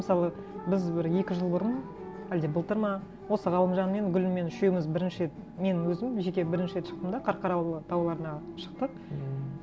мысалы біз бір екі жыл бұрын әлде былтыр ма осы ғалымжанмен гүліммен үшеуіміз бірінші рет мен өзім жеке бірінші рет шықтым да қарқаралы тауларына шықтық ммм